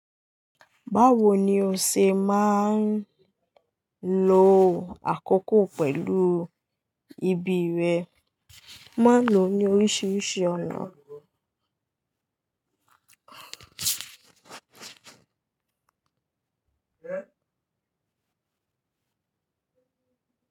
Báwo ni o ṣe máa ń lo àkókò pẹ̀lú ibi rẹ? Mo maa n lo ní oríṣiríṣi ọ̀nà.